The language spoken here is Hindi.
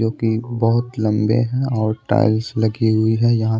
जो कि बहुत लंबे हैं और टाइल्स लगी हुई हैं यहाँ--